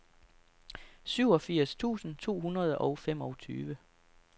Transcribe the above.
syvogfirs tusind to hundrede og femogtyve